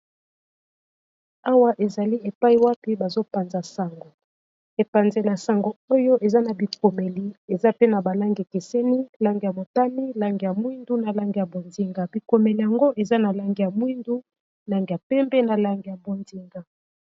Awa ezali epayi wapi bazopanza sango epanzela ya sango oyo eza na bikomeli eza pe na ba langi ekeseni langi ya motane langi ya mwindu na langi ya bozinga. bikomeli yango eza na langi ya mwindu langi ya pembe na langi ya bozinga